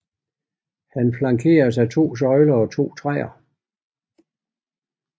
Han flankeres af to søjler og to træer